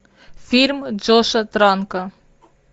фильм джоша транка